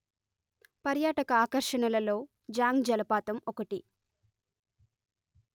పర్యాటక ఆకర్షణలలో జాంగ్ జలపాతం ఒకటి